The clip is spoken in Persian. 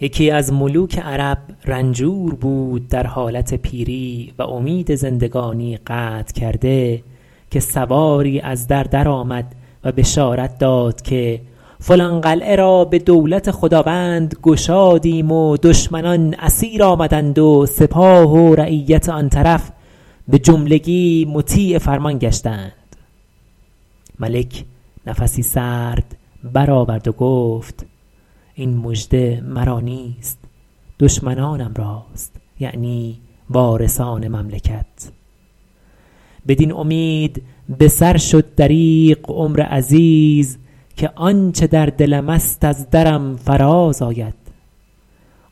یکی از ملوک عرب رنجور بود در حالت پیری و امید زندگانی قطع کرده که سواری از در درآمد و بشارت داد که فلان قلعه را به دولت خداوند گشادیم و دشمنان اسیر آمدند و سپاه و رعیت آن طرف به جملگی مطیع فرمان گشتند ملک نفسی سرد بر آورد و گفت این مژده مرا نیست دشمنانم راست یعنی وارثان مملکت بدین امید به سر شد دریغ عمر عزیز که آنچه در دلم است از درم فراز آید